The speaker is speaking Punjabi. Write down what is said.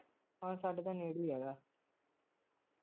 ਹਾਂ ਸਾਡੇ ਤਾਂ ਨੇੜੇ ਹੀ ਹੈਗਾ